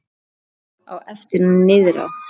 Á eftir niðrá